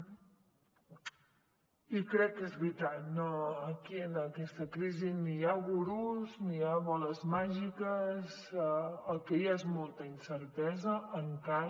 i crec que és veritat aquí en aquesta crisi ni hi ha gurus ni hi ha boles màgiques el que hi ha és molta incertesa encara